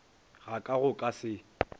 ga ka go ka se